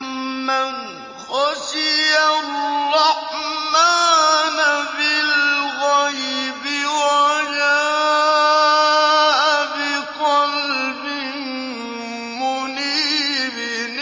مَّنْ خَشِيَ الرَّحْمَٰنَ بِالْغَيْبِ وَجَاءَ بِقَلْبٍ مُّنِيبٍ